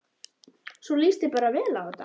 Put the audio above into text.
Svo þér líst bara vel á þetta?